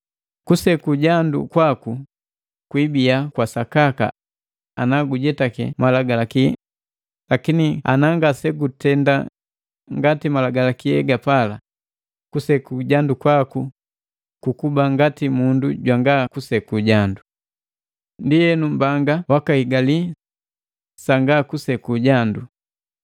Kuseku jandu kwaku kwiibia kwasakaka ana gujetake Malagalaki, lakini ana ngasegutenda ngati Malagalaki hegapala, kuseku jandu kwaku kukuba ngati mundu jwanga kusekujandu. Ndienu mbanga wakahigali sanga kuseku jandu.